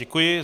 Děkuji.